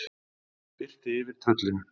Það birti yfir tröllinu.